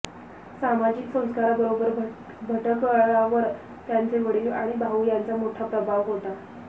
सामाजिक संस्कारांबरोबर भटकळांवर त्यांचे वडील आणि भाऊ यांचा मोठा प्रभाव होता